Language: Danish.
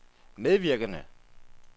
medvirkende